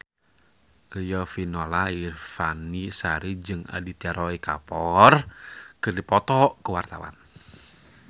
Riafinola Ifani Sari jeung Aditya Roy Kapoor keur dipoto ku wartawan